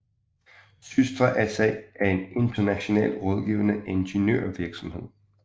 SYSTRA SA er en international rådgivende ingeniørvirksomhed